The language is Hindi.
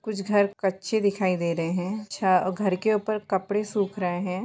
कुछ घर कच्चे दिखाई दे रहे है छत और घर के ऊपर कपड़े सुख रहे है।